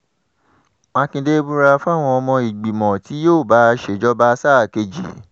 mákindé búra fáwọn ọmọ ìgbìmọ̀ tí yóò bá a ṣèjọba sáà kejì